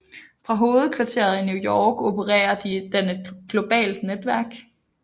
Fra hovedkvarteret i New York opererer den i et globalt netværk